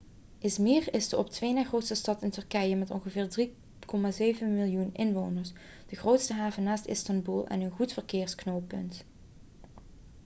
i̇zmir is de op twee na grootste stad in turkije met ongeveer 3,7 miljoen inwoners de grootste haven naast istanbul en een goed verkeersknooppunt